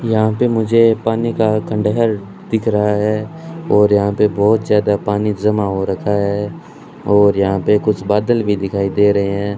यहां पर मुझे पानी का खंडहर दिख रहा है और यहां पर बहुत ज्यादा पानी जमा हो रखा है और यहां पर कुछ बादल भी दिखाई दे रहे हैं।